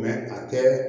a tɛ